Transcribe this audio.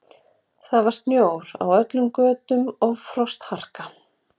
Það var snjór á öllum götum og frostharka.